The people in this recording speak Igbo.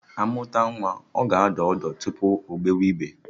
Amụta nwa, ọ ga adọ ọdụ tupu ogbewe igbe